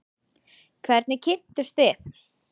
Hvernig kynntust þið?